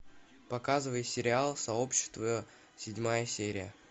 показывай сериал сообщество седьмая серия